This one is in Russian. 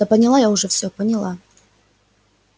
да поняла я уже всё поняла